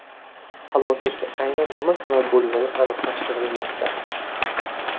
Halokatga aynan nima sabab bo‘lgani aniqlashtirilmoqda.